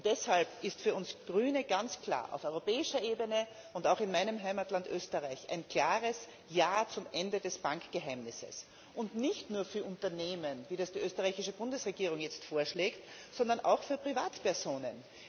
Deshalb ist für uns Grüne ganz klar Auf europäischer Ebene und auch in meinem Heimatland Österreich ein klares Ja zum Ende des Bankgeheimnisses, und zwar nicht nur für Unternehmen, wie das die österreichische Bundesregierung jetzt vorschlägt, sondern auch für Privatpersonen.